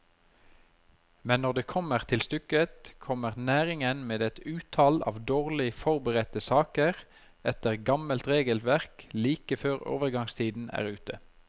Men når det kommer til stykket, kommer næringen med et utall av dårlig forberedte saker etter gammelt regelverk like før overgangstiden er ute.